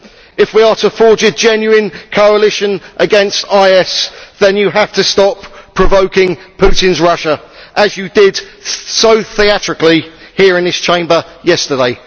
If we are to forge a genuine coalition against IS, then you have to stop provoking Putinʼs Russia as you did so theatrically here in this Chamber yesterday.